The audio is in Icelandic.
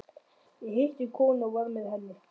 Ég hitti konu og var með henni.